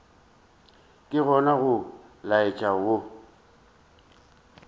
ke gona go laetša go